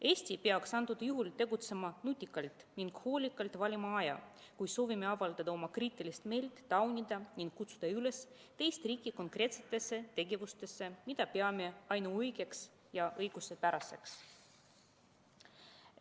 Eesti peaks antud juhul tegutsema nutikalt ning hoolikalt valima aja, kui soovime avaldada oma kriitilist meelt, taunida ning kutsuda üles teist riiki konkreetsetele tegevustele, mida peame ainuõigeks ja õiguspäraseks.